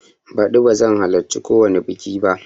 Baɗi bazan halarci kowani biƙi ba